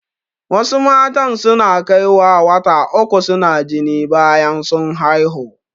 Wasu matan su na kaiwa wata uku su na jini bayan sun haihu